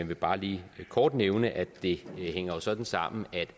vil bare lige kort nævne at det jo hænger sådan sammen